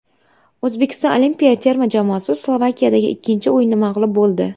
O‘zbekiston olimpiya terma jamoasi Slovakiyadagi ikkinchi o‘yinda mag‘lub bo‘ldi.